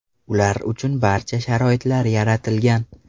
Ular uchun barcha sharoitlar yaratilgan.